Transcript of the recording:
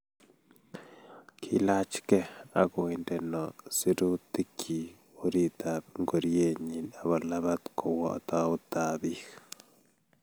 Kilachgei akoindeno sirutikchi oritab ngorienyi akolabat kowo tautab biik